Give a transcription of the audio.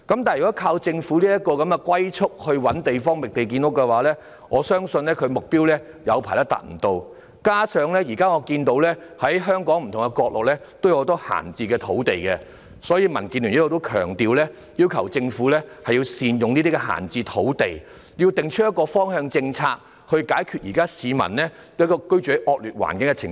不過，如依靠政府如此龜速地"覓地建屋"，我相信長時間也未能達到目標，加上我看到目前香港不同角落有很多閒置土地，所以民建聯亦強調，要求政府善用這些閒置土地，訂立一個方向政策，以解決現在市民居住在惡劣環境的情況。